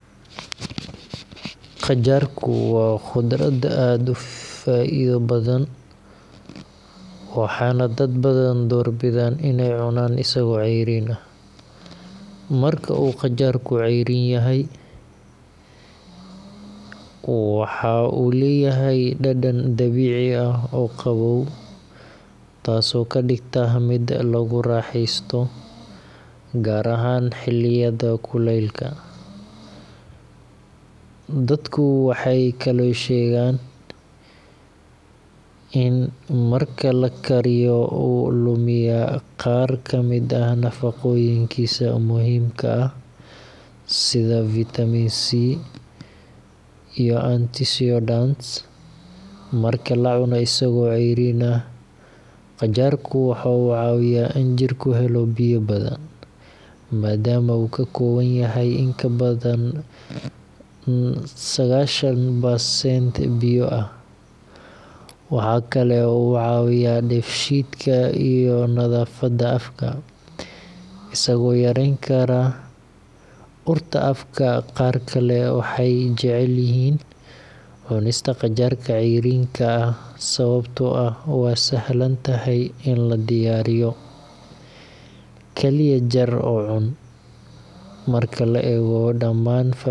Qajaarku waa khudrad aad u faa'iido badan, waxaana dad badan door bidaan inay cunaan isagoo cayriin ah. Marka uu qajaarku cayriin yahay, waxa uu leeyahay dhadhan dabiici ah oo qabow, taasoo ka dhigta mid lagu raaxaysto gaar ahaan xilliyada kulaylaha. Dadku waxay kaloo sheegaan in marka la kariyo uu lumiyaa qaar ka mid ah nafaqooyinkiisa muhiimka ah sida vitamin C iyo antioxidants. Marka la cuno isagoo cayriin ah, qajaarku waxa uu caawiyaa in jidhku helo biyo badan, maadaama uu ka kooban yahay in ka badan sagashan percent biyo ah. Waxa kale oo uu caawiyaa dheef-shiidka iyo nadaafadda afka, isagoo yarayn kara urta afka. Qaar kale waxay jecel yihiin cunista qajaarka cayriinka ah sababtoo ah waa sahlan tahay in la diyaariyo – kaliya jar oo cun. Marka la eego daman.